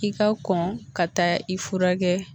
I ka kɔn ka taa i furakɛ